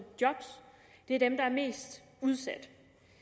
job det er dem der er mest udsat